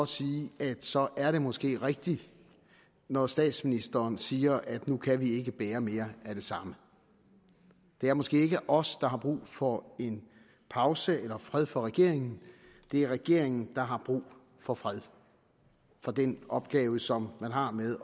sige at så er det måske rigtigt når statsministeren siger at nu kan vi ikke bære mere af det samme det er måske ikke os der har brug for en pause eller fred for regeringen det er regeringen der har brug for fred for den opgave som man har med